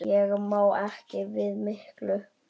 Ég má ekki við miklu.